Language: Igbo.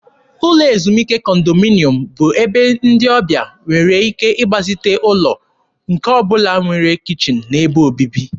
Ụlọ ezumike kọndominyọm bụ ebe ndị ọbịa nwere ike ịgbazite ụlọ nke ọ bụla nwere kichin na ebe obibi.